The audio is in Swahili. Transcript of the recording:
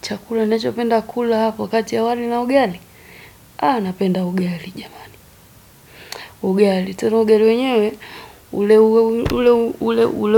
Chakula nachopenda kula hapo kati ya wali na ugali. Haa napenda ugali jamani. Ugali. Tena ugali wenyewe. Ule